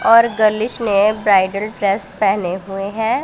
और गेलीस ने ब्राइडल ड्रेस पहने हुए हैं।